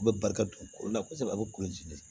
U bɛ barika dun ko la kosɛbɛ a bɛ kolo